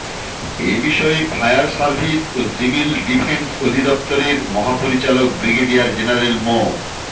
এ বিষয়ে fire service ও civil defence অধিদফতরের মহাপরিচালক ব্রিগেডিয়ার জেনারেল মো